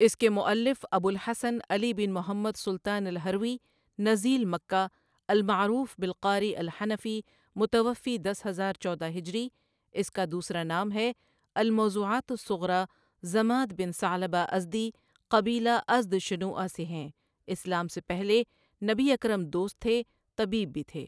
اس کے مؤلف ابو الحسن علی بن محمد سلطان الہروی نزیل مکہ المعروف بالقاری الحنفی متوفی دس ہزار چودہ ہجری، اس کا دوسرا نام ہے الموضوعات الصغریٰ ضماد بن ثعلبہ ازدی قبیلہ ازدشنوءہ سے ہیں، اسلام سے پہلے نبی اکرم دوست تھے، طبیب بھی تھے۔